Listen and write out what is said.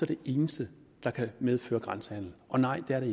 det eneste der kan medføre grænsehandel og nej det er